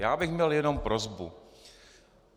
Já bych měl jenom prosbu.